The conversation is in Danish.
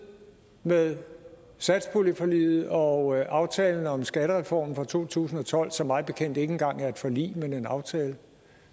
med satspuljeforliget og aftalen om skattereformen fra to tusind og tolv som mig bekendt ikke engang er et forlig men en aftale